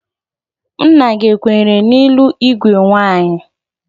Nna gị ekwenyere n ịlụ igwe nwaanyị?